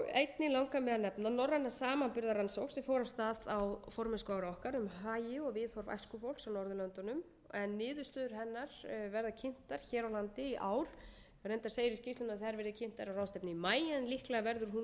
einnig langar mig að nefna norræna samanburðarrannsókn sem fór af stað á formennskuári okkar um hagi og viðhorf æskufólks á norðurlöndunum en niðurstöður hennar verða kynntar hér á landi í ár reyndar segir í skýrslunni að þær verði kynntar á ráðstefnu í maí en líklega verður hún